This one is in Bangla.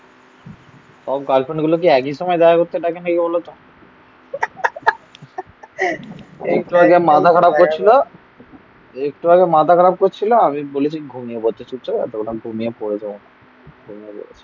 সব গার্লফ্রেন্ড গুলো কি একই সময় দেখা করতে ডাকে নাকি বলতো? একটু আগে মাথা খারাপ করছিল একটু আগে মাথা খারাপ করছিল. আমি বলেছি ঘুমিয়ে পড়ছি চুপচাপ